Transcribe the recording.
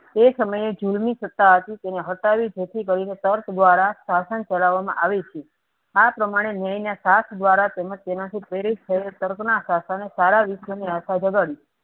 એ સમય એ જીવ ની સતા હતી તેને હંકાવી જતી દઈ ને તર્ક દ્વારા શાસન ચલાવવામાં આવીતી આ પ્રમાણે ન્યાયના સાથ દ્વારા તેમજ તેનાથી પ્રેરિત તર્કના શાસને સારા વિશ્વની આશા જગાડી